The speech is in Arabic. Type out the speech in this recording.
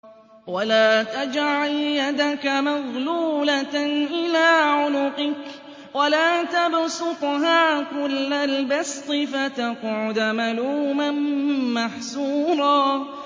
وَلَا تَجْعَلْ يَدَكَ مَغْلُولَةً إِلَىٰ عُنُقِكَ وَلَا تَبْسُطْهَا كُلَّ الْبَسْطِ فَتَقْعُدَ مَلُومًا مَّحْسُورًا